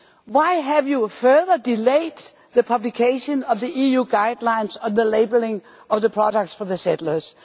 Why have you further delayed the publication of the EU guidelines on the labelling of products for the settlers?